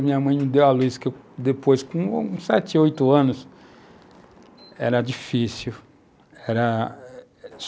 Minha mãe me deu a luz que eu, depois, com 7, 8 anos, era difícil.